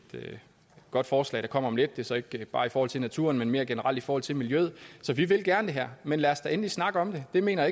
godt forslag der kommer om lidt det er så ikke bare i forhold til naturen men mere generelt i forhold til miljøet så vi vil gerne det her men lad os da endelig snakke om det det mener